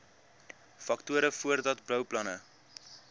faktore voordat bouplanne